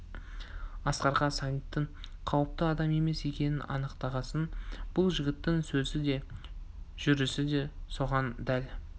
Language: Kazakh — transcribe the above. асқарға сағиттың қауіпті адам емес екенін анықтағасын бұл жігіттің сөзі де жүрісі де соған дәл